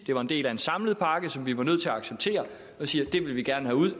det var en del af en samlet pakke som vi var nødt til at acceptere og siger at det vil vi gerne have ud